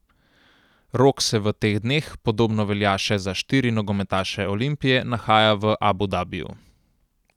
Rok se v teh dneh, podobno velja še za štiri nogometaše Olimpije, nahaja v Abu Dabiju.